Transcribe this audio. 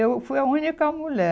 Eu fui a única mulher.